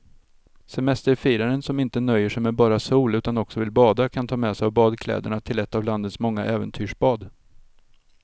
Semesterfiraren som inte nöjer sig med bara sol utan också vill bada kan ta med sig badkläderna till ett av landets många äventyrsbad.